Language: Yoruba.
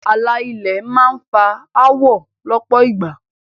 Ààlà ilẹ̀ náà máá ń fa áwọ̀ lọ́pọ̀ ìgbà